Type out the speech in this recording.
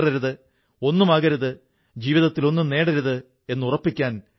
അതായത് കർഷകർക്ക് ആവശ്യമുള്ള സാധനങ്ങൾ അവരുടെ വീടുകളിൽ ലഭിക്കുന്നു